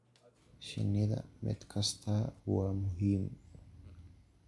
Shinnida, mid kastaa waa muhiim.